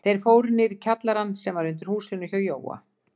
Þeir fóru niður í kjallarann sem var undir húsinu hjá Jóa.